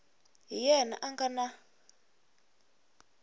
hi yena a nga na